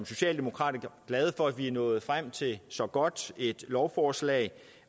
socialdemokrater glade for at vi er nået frem til et så godt lovforslag